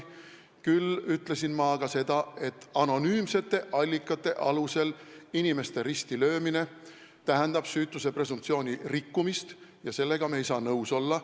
Küll ütlesin ma seda, et anonüümsete allikate alusel inimeste risti löömine tähendab süütuse presumptsiooni rikkumist ja sellega ei saa ma nõus olla.